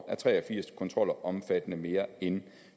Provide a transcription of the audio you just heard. er tre og firs kontroller omfattende mere end